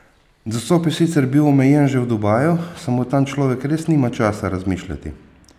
Dostop je sicer bil omejen že v Dubaju, samo tam človek res nima časa razmišljati!